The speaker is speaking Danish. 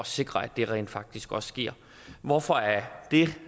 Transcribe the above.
sikre at det rent faktisk også sker hvorfor er det